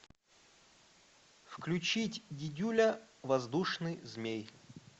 включить дидюля воздушный змей